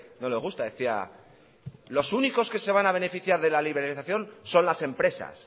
no le gusta decía los únicos que se van a beneficiar de la liberalización son las empresas